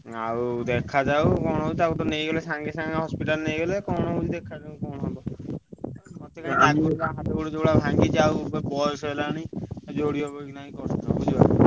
ଆଉ ଦେଖା ଯାଉ କଣ ହଉଛି ତାକୁ ତ ନେଇଗଲେ ସାଙ୍ଗେ ସାଙ୍ଗେ hospital ନେଇଗଲେ କଣ ହଉଛି ଦେଖାଯାଉ କଣ ହବ ମତେ କାଇଁ ଲାଗୁନି ହାତ ଗୋଡ ଯୋଉଗୁଡା ଭାଙ୍ଗିଛି ଆଉ ଏ ବୟସ ହେଲାଣି ଯୋଡିହବକି ନାହିଁ ।